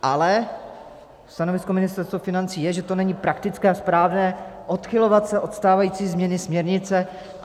Ale stanovisko Ministerstva financí je, že to není praktické a správné odchylovat se od stávající změny směrnice.